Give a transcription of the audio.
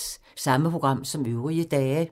Samme programflade som øvrige dage